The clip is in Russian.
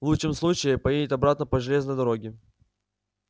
в лучшем случае поедет обратно по железной дороге